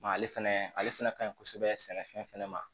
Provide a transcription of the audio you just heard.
ale fɛnɛ ale fɛnɛ ka ɲi kosɛbɛ sɛnɛfɛn fɛnɛ ma